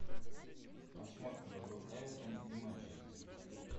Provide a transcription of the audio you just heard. посмотрим игру эвертона и манчестер